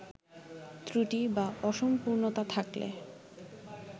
ত্রুটি বা অসম্পূর্ণতা থাকলে